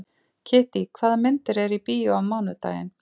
Kittý, hvaða myndir eru í bíó á mánudaginn?